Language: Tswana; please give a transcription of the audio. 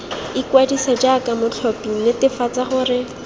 ikwadise jaaka motlhophi netefatsa gore